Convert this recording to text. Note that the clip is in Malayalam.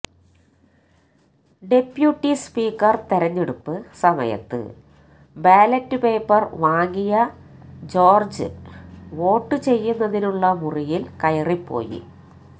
ഡെപ്യൂട്ടി സ്പീക്കര് തെരഞ്ഞെടുപ്പ് സമയത്ത് ബാലറ്റ് പേപ്പര് വാങ്ങിയ ജോര്ജ് വോട്ട് ചെയ്യുന്നതിനുള്ള മുറിയില് കയറിപ്പോയി